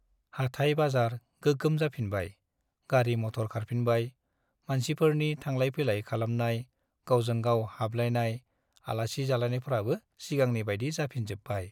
हाटाय- बाजार गोगोम जाफिनबाय , गारि - मटर खारफिनबाय , मानसिफोरनि थांलाय - फैलाय खालामनाय , गावजों गाव हाबलायनाय , आलासि जालायनायफ्राबो सिगांनि बाइदि जाफिनजोब्बाय ।